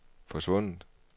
forsvundet